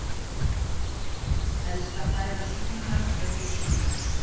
Helsta fæða súlunnar er fiskur.